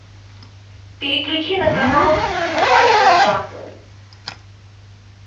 переключи на канал дважды два